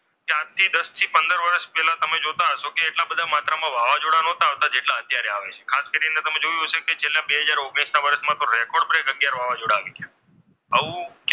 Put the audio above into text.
આજથીદસ પંદર વર્ષ પહેલા તમે જોયું કે જોતા હશો કે એટલા બધા માત્રામાં વાવાઝોડા ન હતા આવતા જેટલા અત્યારે આવે છે ખાસ કરીને છેલ્લા તમે જોયું હશે કે બે હજાર ઓગણીસ ના વર્ષમાં રેકોર્ડ બ્રેક થયેલો છે એટલા વાવાઝોડામાં આવી ગયા આવું,